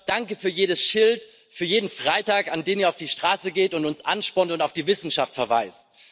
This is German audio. Danke für jedes Schild, für jeden Freitag, an dem ihr auf die Straße geht und uns anspornt und auf die Wissenschaft verweist.